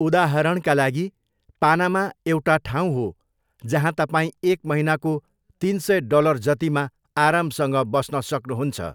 उदाहरणका लागि, पानामा एउटा ठाउँ हो जहाँ तपाईँ एक महिनाको तिन सय डलर जतिमा आरामसँग बस्न सक्नुहुन्छ।